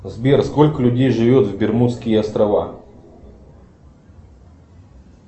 сбер сколько людей живет в бермудские острова